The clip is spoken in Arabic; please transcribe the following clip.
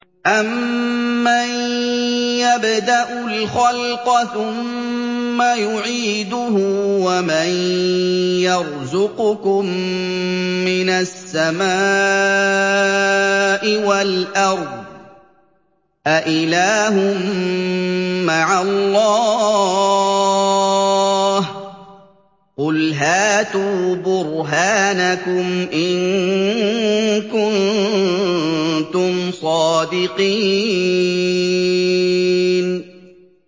أَمَّن يَبْدَأُ الْخَلْقَ ثُمَّ يُعِيدُهُ وَمَن يَرْزُقُكُم مِّنَ السَّمَاءِ وَالْأَرْضِ ۗ أَإِلَٰهٌ مَّعَ اللَّهِ ۚ قُلْ هَاتُوا بُرْهَانَكُمْ إِن كُنتُمْ صَادِقِينَ